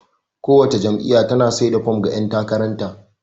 Kowace jam'iyya tana sai da fom ga ƴan takarar ta.